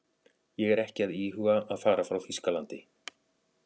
Ég er ekki að íhuga að fara frá Þýskalandi.